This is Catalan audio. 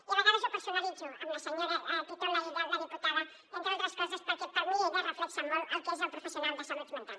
i a vegades ho personalitzo en la senyora titon laïlla la diputada entre d’altres coses perquè per mi ella reflecteix molt el que és el professional de salut mental